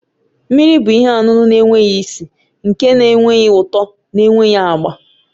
Mmiri bụ ihe ọṅụṅụ na-enweghị isi, nke na-enweghị ụtọ na enweghị agba